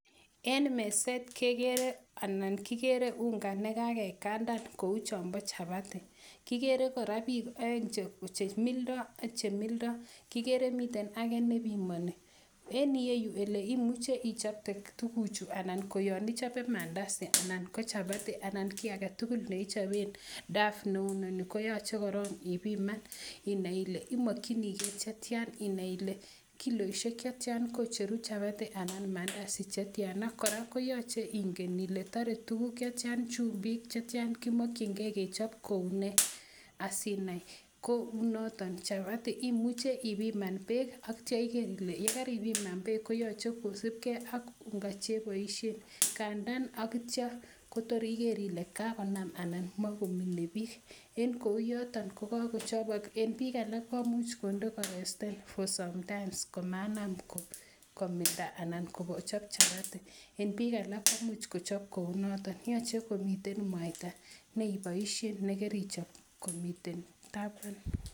En meset kegere anan kigere unga ne kagikandan kou chombo chapati. Kigere kora biikoeng che mildo, kigere miten age ne pimoni. En ireyu ele imuche ichopte tuguchu anan ko yon ichope maandazi anan ko chapati anan ko kiy age tugul ne ichopen dough neunoni koyoche korong ibiman inai ile imokinige che tyan. Inai ile kiloisike che tyan kocheru chapati anan maandazi che tyan. Kora koyoche inai ile tor tuguk chetyan, chumbik che tyan, kimokinge kechob koune asiinai. Kokou noto chapati imuche ibiman beek ak kityo iger ile ye karibiman beek ko yoche kosibge ak unga che iboishen. Kandan ak kityo kotor iger ile kagonam maat anan magomine biik. En kou yoton kokagochobok, en biiik alak komuch konde koresten for sometime komainam ko milda ana kochop chapati en biik alak koimuch kochob kounoto. Yoche komiten mwaita ne iboishen ne kerichob komiten taban.